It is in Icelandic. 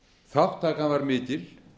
þátttakan var mikil